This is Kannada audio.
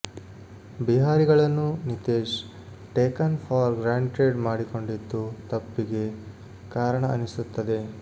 ಬಿಹಾರಿಗಳನ್ನು ನಿತೀಶ್ ಟೇಕನ್ ಫಾರ್ ಗ್ರಾಂಟೆಡ್ ಮಾಡಿಕೊಂಡಿದ್ದು ತಪ್ಪಿಗೆ ಕಾರಣ ಅನಿಸುತ್ತದೆ